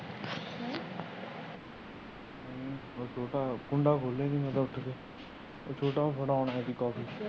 ਤੂੰ ਤਾ ਕੁੰਡਾ ਖੋਲਿਆ ਮੈਂ ਤੇ ਉੱਠ ਕੇ ਛੋੱਟਾ ਫੜਾਉਣ ਆਯਾ ਸੀ ਕਾਫੀ।